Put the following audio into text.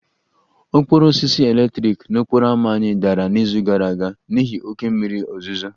Okporo osisi eletrik n'okporo ámá anyị dara n'izu gara aga n'ihi oké mmiri ozuzo